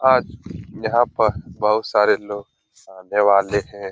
आज यहाँ पर बहुत सारे लोग आने वाले हैं ।